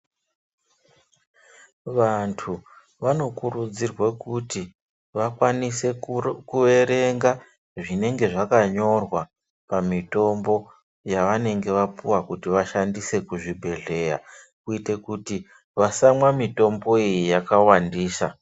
Vantu vanokurudzirwe kuti vakwanise kuerenga zvinenge zvakanyorwa pamitombo yavanenge vapuwa kuti vashandise kuzvibhedhleya kuite kuti vasamwa mitombo iyi yakawandisa.